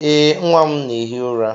Ee, nwa m na-ehi ụra.